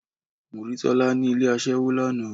Mo rí Tọ́lá ni ilé aṣẹ́wó lánàá.